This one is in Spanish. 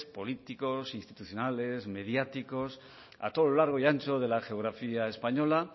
políticos institucionales mediáticos a todo lo largo y ancho de la geografía española